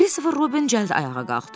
Kristofer Robin cəld ayağa qalxdı.